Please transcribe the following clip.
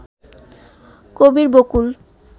Kabir Bakul